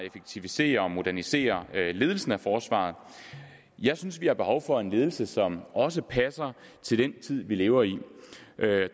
effektivisere og modernisere ledelsen af forsvaret jeg synes vi har behov for en ledelse som også passer til den tid vi lever i